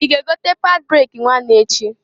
I ga egota pad breki nwanu echi?